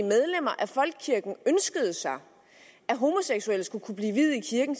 medlemmer af folkekirken ønskede sig at homoseksuelle skulle kunne blive viet i kirken